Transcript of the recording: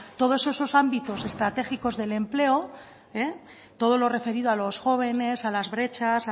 todos esos ámbitos estratégicos del empleo todo lo referido a los jóvenes a las brechas